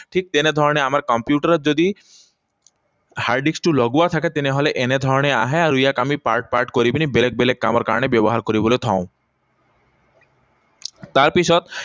ঠিক তেনেধৰণে আমাৰ কম্পিউটাৰত যদি hard disk টো লগোৱা থাকে, তেনেহলে এনেধৰণে আহে আৰু ইয়াক আমি part part কৰি পিনি, বেলেগ বেলেগ কামৰ কাৰণে ব্যৱহাৰ কৰিবলে থওঁ। তাৰপিছত